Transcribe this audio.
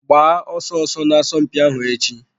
Gbaa ọsọ ọsọ n'asọmpi ahụ echi.